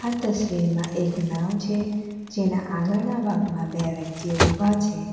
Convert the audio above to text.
તસવીર માં એક નાવ છે જેના આગળના ભાગમાં બે વ્યક્તિઓ ઊભા છે.